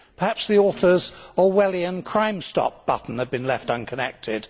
Perhaps the author's Orwellian crimestop button had been left unconnected.